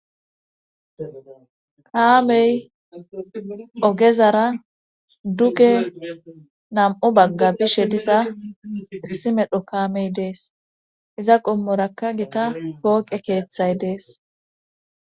Kaamey ogezara duge nam7u bagga bishe diza simedho kaamey dees iza qommoraka gita pooqe keeththay dees.